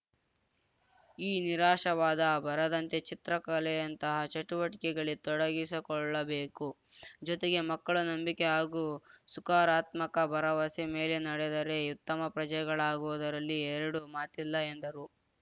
ಈ ನಿರಾಶವಾದ ಬರದಂತೆ ಚಿತ್ರಕಲೆಯಂತಹ ಚಟುವಟಿಕೆಗಳಲ್ಲಿ ತೊಡಗಿಕೊಳ್ಳಬೇಕು ಜೊತೆಗೆ ಮಕ್ಕಳು ನಂಬಿಕೆ ಹಾಗೂ ಸುಕಾರಾತ್ಮಕ ಭರವಸೆ ಮೇಲೆ ನಡೆದರೆ ಉತ್ತಮ ಪ್ರಜೆಗಳಾಗುವುದರಲ್ಲಿ ಎರಡು ಮಾತಿಲ್ಲ ಎಂದರು